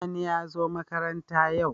Sani yazo makaranta yau